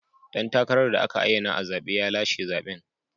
Dan takarar da aka ayyana a zabe ya lashe zaben.